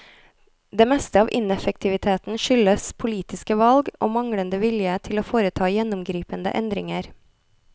Det meste av ineffektiviteten skyldes politiske valg, og manglende vilje til å foreta gjennomgripende endringer.